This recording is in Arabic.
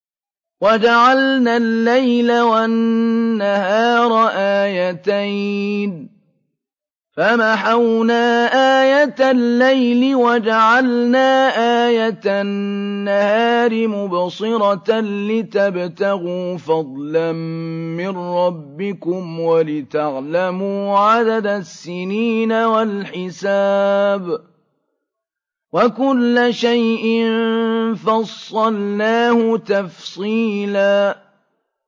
وَجَعَلْنَا اللَّيْلَ وَالنَّهَارَ آيَتَيْنِ ۖ فَمَحَوْنَا آيَةَ اللَّيْلِ وَجَعَلْنَا آيَةَ النَّهَارِ مُبْصِرَةً لِّتَبْتَغُوا فَضْلًا مِّن رَّبِّكُمْ وَلِتَعْلَمُوا عَدَدَ السِّنِينَ وَالْحِسَابَ ۚ وَكُلَّ شَيْءٍ فَصَّلْنَاهُ تَفْصِيلًا